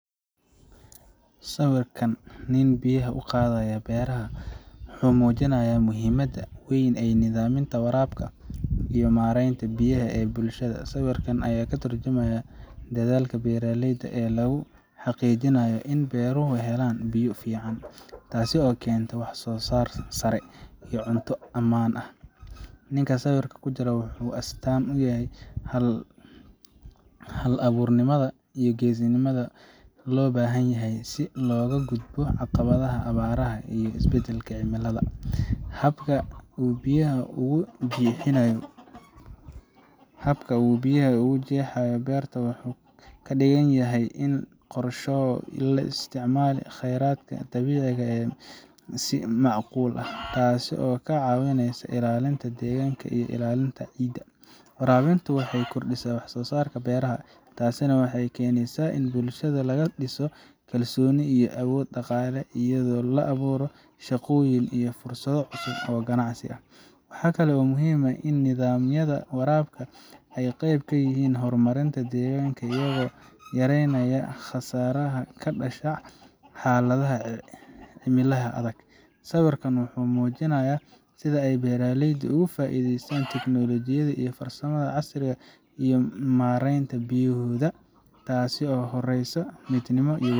Sawirkan nin biyaha u qadaya beeraha wuxu mujinaya in ay mujinta beraha iyo warabka bulshada ayaa katurjumaya ini dadhalka beeraleydu in beeruhu helan biyo fican oo wanagsan, taso kenta wax so saar sare iyo cunto amaan ah. Ninka sawirka kujiraa wuxu astan u yahay hal aburnimada iyo gesinimada loo bahan yahay si loga gudbo caqabadaha iyo abaraha iyo isbedelka cimilada .Habka uu biyaha ugu jehayo beerta wuxu kadiganyahay in qorsho laisticmali oo keyradka berta oo si macqul ah taso kailalinesa ilalinta beerta iyo ilalinta deganka ,Warabintu waxey kordisa wax soo sarka beraha tasi waxey kordhisa kalsoni iyo awood dhaqale iyado oo la aburo shaqoyin iyo fursado cusub oo ganacsi ah. Waxa kale oo muhim ah in nidamyada warabka ay qeyb kayihin horimarinka deganka iyago yareynaya khasaraha kadasha xaladaha cimilaha adag . Sawirkan wuxu mujinaya sidaa ay beraleyda oga faideystan teknolojiyada iyo farsamadha casriga ah mareynta biyahodha taso horesa midnima iyo.